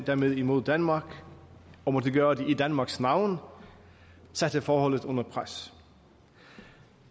dermed imod danmark og måtte gøre det i danmarks navn satte forholdet under pres